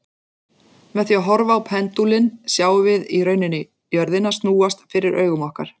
Með því að horfa á pendúlinn sjáum við í rauninni jörðina snúast fyrir augum okkar.